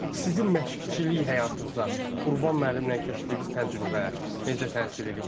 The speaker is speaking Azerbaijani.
Sizin məşqçilik həyatınıza Qurban müəllimlə keçdiyiniz təcrübə necə təsir eləyib?